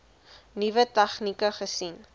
nuwe tegnieke gesien